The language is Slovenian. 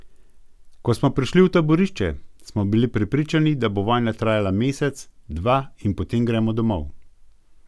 Ko smo prišli v taborišče, smo bili prepričani, da bo vojna trajala mesec, dva in potem gremo domov.